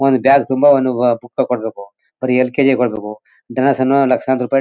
ಒಂದು ಬ್ಯಾಗ್ ತುಂಬಾ ಅನ್ನುವ ಬುಕ್ ತಗೊಳ್ಬೇಕು. ಬರಿ ಎಲ್_ಕೆ_ಜಿ ಗೆ ಬರ್ಬೇಕು. ಲಕ್ಷಾಂತರ ರೂಪಾಯಿ--